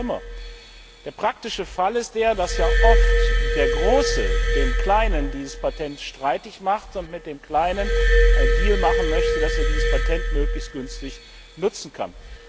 Noch viel schlimmer Der praktische Fall ist der, dass ja oft der Große dem Kleinen dieses Patent streitig macht und mit dem Kleinen einen Deal machen möchte, damit er dieses Patent möglichst günstig nutzen kann.